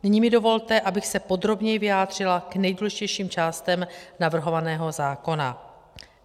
Nyní mi dovolte, abych se podrobněji vyjádřila k nejdůležitějším částem navrhovaného zákona.